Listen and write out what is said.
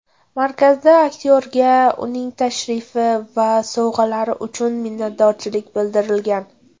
Markazda aktyorga uning tashrifi va sovg‘alari uchun minnatdorchilik bildirilgan.